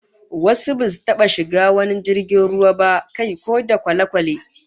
Wasu basu ttaba shiga wani jirgin ruwa ba, kai ko da kwale-kwale